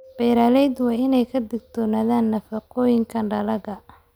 Beeralayda waa in ay ka digtoonaadaan nafaqooyinka dalagga.